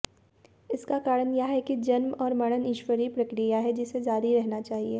इसका कारण यह है कि जन्म और मरण ईश्वरीय प्रक्रिया है जिसे जारी रहना चाहिए